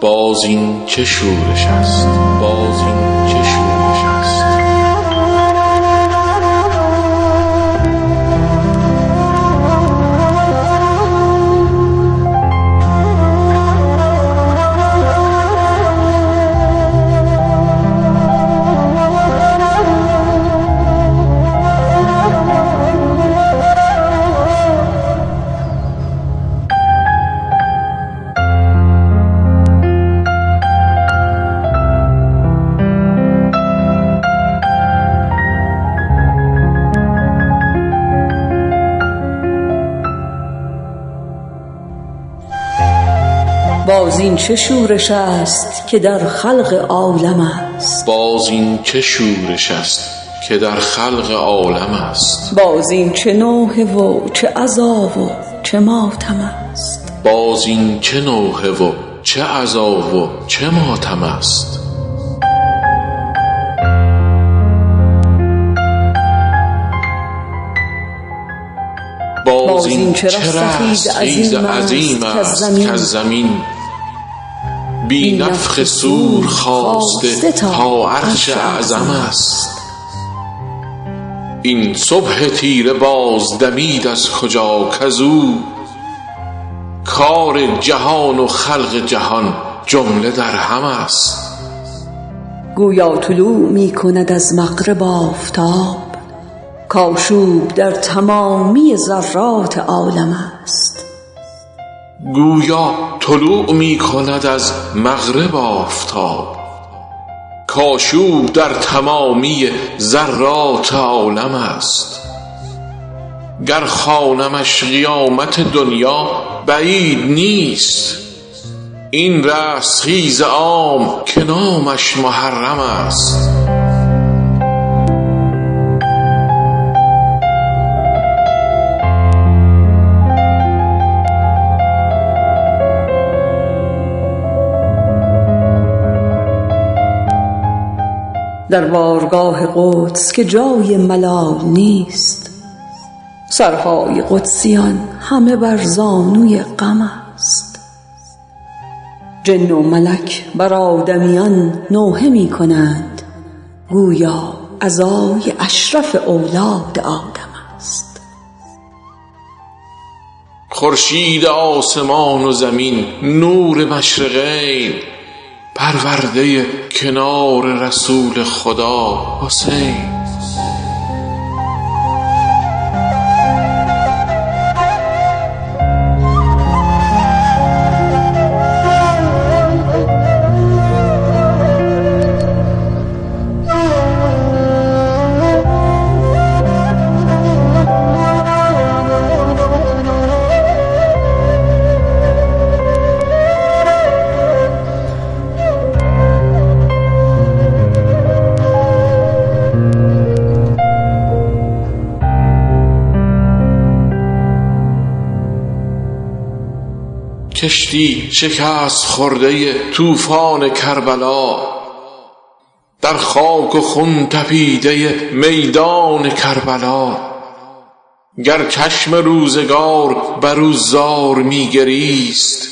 باز این چه شورش است که در خلق عالم است باز این چه نوحه و چه عزا و چه ماتم است باز این چه رستخیز عظیم است کز زمین بی نفخ صور خاسته تا عرش اعظم است این صبح تیره باز دمید از کجا کزو کار جهان و خلق جهان جمله در هم است گویا طلوع می کند از مغرب آفتاب کآشوب در تمامی ذرات عالم است گر خوانمش قیامت دنیا بعید نیست این رستخیز عام که نامش محرم است در بارگاه قدس که جای ملال نیست سرهای قدسیان همه بر زانوی غم است جن و ملک بر آدمیان نوحه می کنند گویا عزای اشرف اولاد آدم است خورشید آسمان و زمین نور مشرقین پرورده کنار رسول خدا حسین کشتی شکست خورده طوفان کربلا در خاک و خون تپیده میدان کربلا گر چشم روزگار بر او فاش می گریست